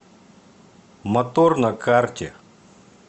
мотор на карте